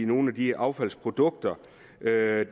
nogle af de affaldsprodukter der er